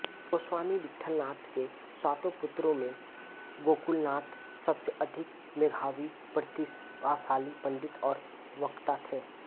गोस्वामी विट्ठलनाथ के सातों पुत्रों में गोकुलनाथ सबसे अधिक मेधावी प्रतिभाशाली पंडित और वक्ता थे